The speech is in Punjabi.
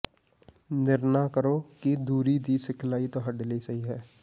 ਨਿਰਣਾ ਕਰੋ ਕਿ ਦੂਰੀ ਦੀ ਸਿਖਲਾਈ ਤੁਹਾਡੇ ਲਈ ਸਹੀ ਹੈ